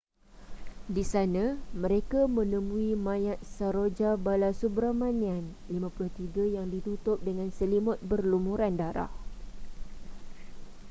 di sana mereka menemui mayat saroja balasubramanian 53 yang ditutup dengan selimut berlumuran darah